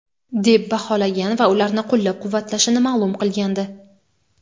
deb baholagan va ularni qo‘llab-quvvatlashini ma’lum qilgandi.